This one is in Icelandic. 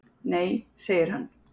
"""Nei, segir hann."""